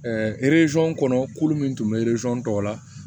kɔnɔ kulu min tun bɛ tɔw la